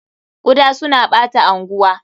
Kuda suna ɓata anguwa.